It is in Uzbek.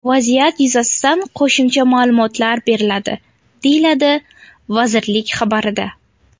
Vaziyat yuzasidan qo‘shimcha ma’lumotlar beriladi”, deyiladi vazirlik xabarida.